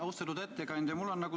Austatud ettekandja!